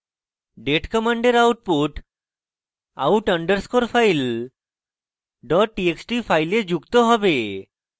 date command output out underscore file dot txt file যুক্ত হবে